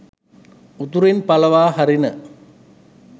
උතුරෙන් පලවා හරින